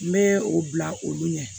N bɛ o bila olu ɲɛ